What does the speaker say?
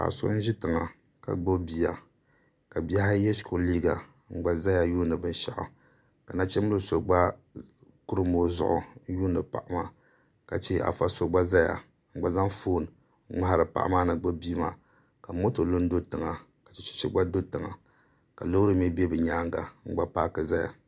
Paɣa so n ʒi tiŋa ka gbubi bia ka bihi ayi yɛ shikuru liiga n gba ʒɛya yuundi binshaɣu ka nachimbili so gba kurim o zuɣu n yuundi paɣa maa ka chɛ afa so gba ʒɛya ka zaŋ foon n ŋmaari paɣa maa ni gbubi bia maa ka moto lu n do tiŋa ka chɛchɛ gba lu n do tiŋa ka loori lee bɛ bi nyaanga n gba paaki ʒɛya